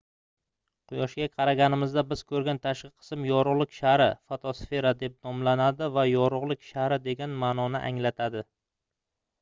quyoshga qaraganimizda biz koʻrgan tashqi qism yorugʻlik shari fotosfera deb nomlanadi va yorugʻlik shari degan maʼnoni anglatadi